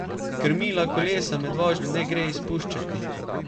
Krmila kolesa med vožnjo ne gre izpuščati.